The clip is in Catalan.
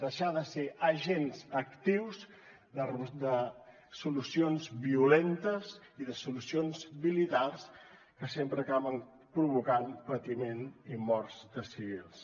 deixar de ser agents actius de solucions violentes i de solucions militars que sempre acaben provocant patiment i morts de civils